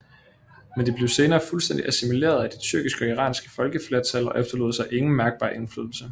Men de blev senere fuldstændig assimileret af de tyrkiske og iranske folkeflertal og efterlod sig ingen mærkbar indflydelse